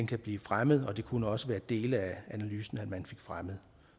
kan blive fremmet og det kunne også være dele af analysen man fik fremmet